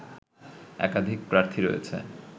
একাধিক প্রার্থী রয়েছে